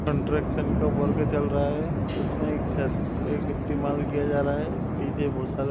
Construction का work चल रहा है। इसमें एक छत पे गिट्टी माल किया जा रहा है पीछे बहुत सारा --